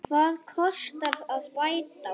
Hvað kostar að bæta úr?